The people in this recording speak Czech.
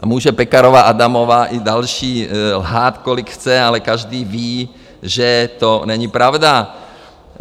A může Pekarová Adamová i další lhát, kolik chce, ale každý ví, že to není pravda.